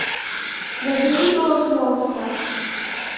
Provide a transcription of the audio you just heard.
набери голос монстра